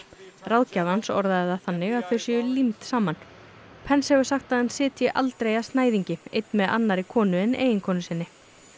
ráðgjafi hans orðaði það þannig að þau séu límd saman pence hefur sagt að hann sitji aldrei að snæðingi einn með annarri konu en eiginkonu sinni